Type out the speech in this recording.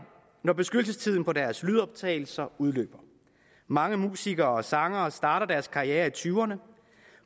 når beskyttelsestiden på deres lydoptagelser udløber mange musikere og sangere starter deres karriere i tyverne